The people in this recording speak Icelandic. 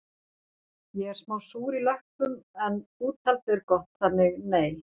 Ég er smá súr í löppum en úthaldið er gott þannig nei